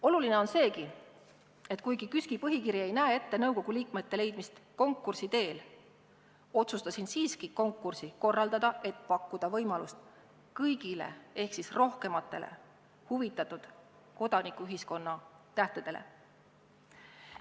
Oluline on seegi, et kuigi KÜSK-i põhikiri ei näe ette nõukogu liikmete leidmist konkursi teel, otsustasin siiski konkursi korraldada, et pakkuda võimalust kõigile ehk rohkematele asjast huvitatud kodanikuühiskonna tähtedele.